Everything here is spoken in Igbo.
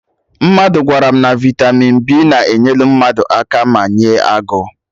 Mmadụ gwara m na vitamin B na-enyelụ mmadụ aka mee ya agụụ